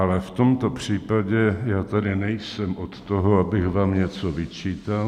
Ale v tomto případě já tady nejsem od toho, abych vám něco vyčítal.